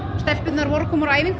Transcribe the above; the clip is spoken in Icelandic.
stelpurnar voru að koma af æfingu